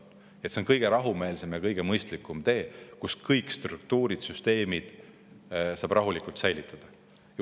See on kõige rahumeelsem ja kõige mõistlikum tee, nii et kõik struktuurid ja süsteemid saab rahulikult säilitada.